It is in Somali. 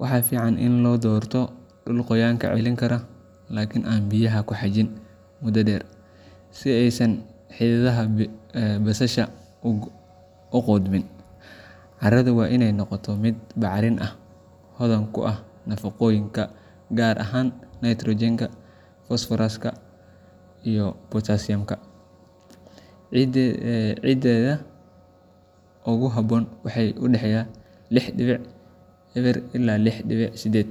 Waxaa fiican in la doorto dhul qoyaanka celin kara laakiin aan biyaha ku xajin muddo dheer, si aysan xididdada basasha u qudhmin. Carradu waa inay noqotaa mid bacrin ah, hodan ku ah nafaqooyinka, gaar ahaan nitrogenka, phosphoruska, iyo potassiumka. pHga ciidda ee ugu habboon wuxuu u dhexeeyaa lix didbic eber ilaa lix dibic sided.